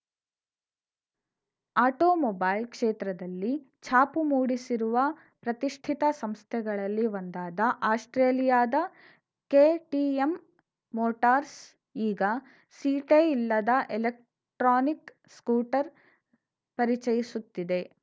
automobile ಕ್ಷೇತ್ರದಲ್ಲಿ ಛಾಪು ಮೂಡಿಸಿರುವ ಪ್ರತಿಷ್ಠಿತ ಸಂಸ್ಥೆಗಳಲ್ಲಿ ಒಂದಾದ ಆಸ್ಪ್ರೇಲಿಯಾದ ಕೆಟಿಎಂ ಮೋಟಾರ್ಸ್ ಈಗ ಸೀಟೇ ಇಲ್ಲದ ಎಲೆಕ್ಟ್ರಾನಿಕ್‌ ಸ್ಕೂಟರ್‌ ಪರಿಚಯಿಸುತ್ತಿದೆ